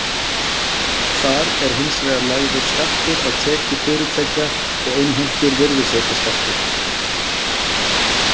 Þar er hins vegar lagður skattur á tekjur fyrirtækja og innheimtur virðisaukaskattur.